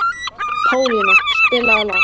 Pálína, spilaðu lag.